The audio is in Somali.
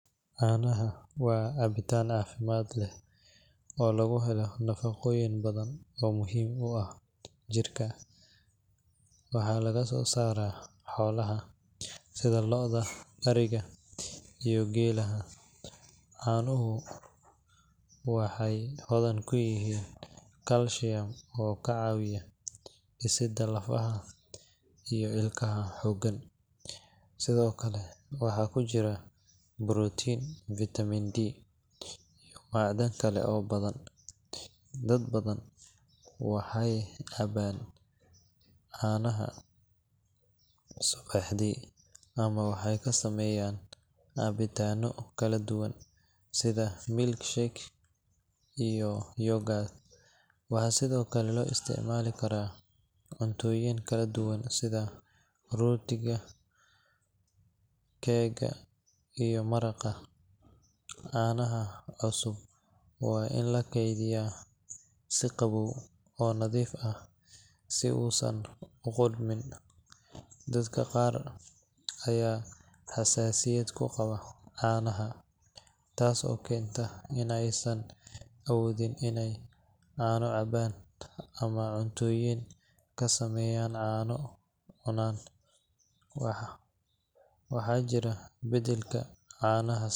Caanaha waa cabitaan caafimaad leh oo laga helo nafaqooyin badan oo muhiim u ah jidhka. Waxaa laga soo saaraa xoolaha sida lo’da, ariga, iyo geelaha. Caanuhu wuxuu hodan ku yahay calcium oo ka caawiya dhisidda lafaha iyo ilkaha xooggan, sidoo kale waxaa ku jira protein, vitamin D, iyo macdan kale oo badan. Dad badan waxay caanaha cabaan subaxii ama waxay ka sameeyaan cabitaanno kala duwan sida milkshake iyo yogurt. Waxaa sidoo kale loo isticmaalaa karinta cuntooyin kala duwan sida rootiga, keega, iyo maraqa. Caanaha cusub waa in la kaydiyaa si qabow oo nadiif ah si uusan u qudhmin. Dadka qaar ayaa xasaasiyad u qaba caanaha, taas oo keenta in aysan awoodin inay caano cabaan ama cuntooyin ka sameysan caano cunaan. Waxaa jira beddelka caanaha.